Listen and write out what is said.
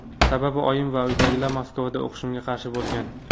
Sababi, oyim va uydagilar Moskvada o‘qishimga qarshi bo‘lgan.